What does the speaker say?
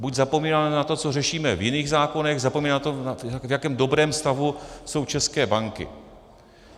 Buď zapomínáme na to, co řešíme v jiných zákonech, zapomínáme na to, v jakém dobrém stavu jsou české banky.